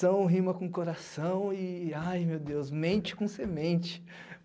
São rima com coração e, ai, meu Deus, mente com semente.